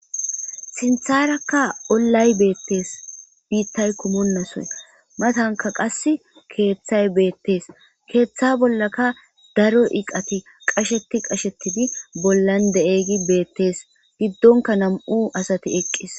sintharakka ollay beettees biittay kumonnasoy matanka qas keeththay beettees keeththa bollaka daro iqati qasheti qashetidi bollan de7egi beettes giddonka nam7u asati eqqis